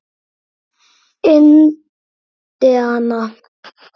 Indiana getur átt við